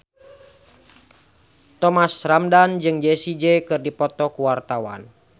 Thomas Ramdhan jeung Jessie J keur dipoto ku wartawan